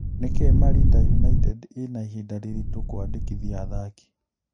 Nĩkĩĩ Marinda United ĩna ihinda rĩritũ kũandĩkithia athaki?